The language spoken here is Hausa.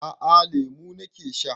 A a, lemu na ke sha.